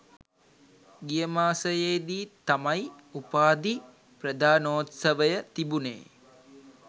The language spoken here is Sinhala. ගිය මාසයේ දී තමයි උපාධි ප්‍රධානෝත්සවය තිබුණේ.